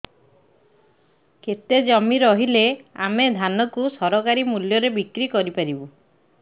କେତେ ଜମି ରହିଲେ ଆମେ ଧାନ କୁ ସରକାରୀ ମୂଲ୍ଯରେ ବିକ୍ରି କରିପାରିବା